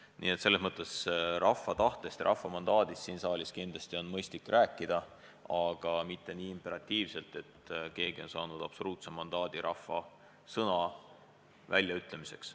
Nii et selles mõttes rahva tahtest ja rahva mandaadist siin saalis kindlasti on mõistlik rääkida, aga mitte nii imperatiivselt, et keegi on saanud absoluutse mandaadi rahva tahte väljaütlemiseks.